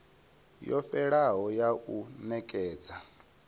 yo fhelelaho ya u nekedza